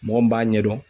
Mɔgɔ min b'a ɲɛdɔn